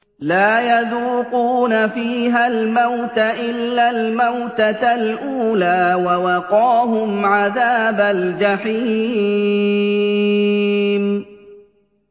لَا يَذُوقُونَ فِيهَا الْمَوْتَ إِلَّا الْمَوْتَةَ الْأُولَىٰ ۖ وَوَقَاهُمْ عَذَابَ الْجَحِيمِ